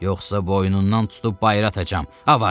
Yoxsa boynundan tutub bayıra atacam, avara!